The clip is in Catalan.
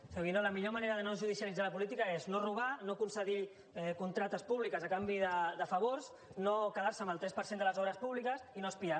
senyor guinó la millor manera de no judicialitzar la política és no robar no concedir contractes públiques a canvi de favors no quedar se amb el tres per cent de les obres públiques i no espiar